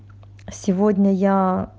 сегодня я